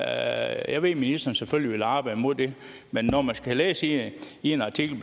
at ministeren selvfølgelig vil arbejde imod det men når man kan læse i en artikel